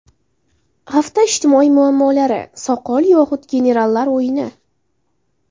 Hafta ijtimoiy muammolari: Soqol yoxud generallar o‘yini.